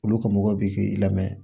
Olu ka mɔgɔ bɛ k'i lamɛ